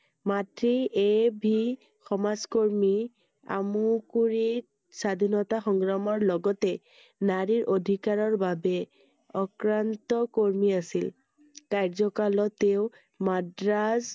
মাতৃ এ ভি সমাজকৰ্মী আমুকুৰি স্বাধীনতা সংগ্ৰামৰ লগতে নাৰীৰ অধিকাৰৰ বাবে অক্ৰান্ত কৰ্মী আছিল I কাৰ্য্য়কালত তেওঁৰ মাদ্ৰাজ